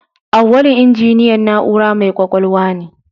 Auwalu injiniyan na'ura mai ƙwaƙwalwa ne.